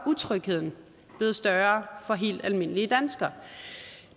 utrygheden blevet større for helt almindelige danskere